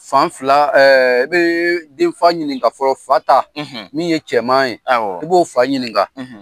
Fan fila , i bɛ denfa ɲininka fɔlɔ, fa ta min ye cɛman yen, awɔ, i b'o fa ɲininka.,